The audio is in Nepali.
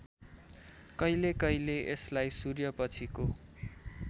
कहिलेकहिले यसलाई सूर्यपछिको